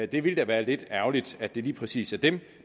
det ville da være lidt ærgerligt at det lige præcis er dem